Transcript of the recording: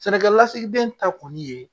Sɛnɛkɛ lasigiden ta kɔni ye